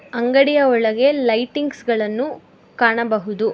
ಅಂಗಡಿಯ ಒಳಗೆ ಲೈಟಿಂಗ್ಸ್ ಗಳನ್ನು ಕಾಣಬಹುದು.